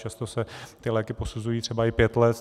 Často se ty léky posuzují třeba i pět let.